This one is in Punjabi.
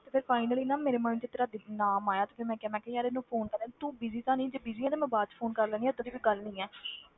ਤੇ ਫਿਰ ਨਾ ਮੇਰੇ mind 'ਚ ਤੇਰਾ ਨਾਮ ਆਇਆ ਤੇ ਫਿਰ ਮੈਂ ਕਿਹਾ ਮੈਂ ਕਿਹਾ ਯਾਰ ਇਹਨੂੰ phone ਕਰਾਂ, ਤੂੰ busy ਤਾਂ ਸੀ ਜੇ busy ਆਂ ਤੇ ਮੈਂ ਬਾਅਦ ਚੋਂ phone ਕਰ ਲੈਂਦੀ ਹਾਂ ਏਦਾਂ ਦੀ ਕੋਈ ਗੱਲ ਨੀ ਹੈ